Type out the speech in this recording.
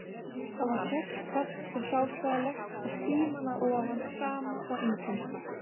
Þar var hrollkalt og hráslagalegt og skíman að ofan sama og engin